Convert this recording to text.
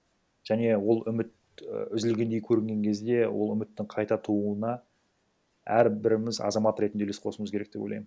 және ол үміт і үзілгендей көрінген кезде ол үміттің қайта тууына әрбіріміз азамат ретінде үлес қосуымыз керек деп ойлаймын